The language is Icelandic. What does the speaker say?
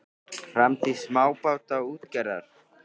Framtíð smábátaútgerðar?